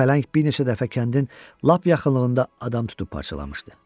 Pələng bir neçə dəfə kəndin lap yaxınlığında adam tutub parçalamışdı.